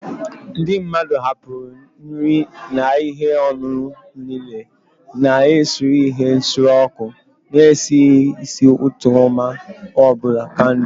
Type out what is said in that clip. Ndị mmadụ hapụrụ nri na ihe ọṅụṅụ n'ili, na-esure ihe nsure ọkụ na-esi ísì ụtọ ma ọ bụ kandụl